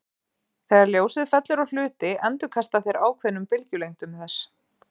Þegar ljósið fellur á hluti endurkasta þeir ákveðnum bylgjulengdum þess.